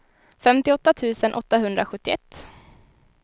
femtioåtta tusen åttahundrasjuttioett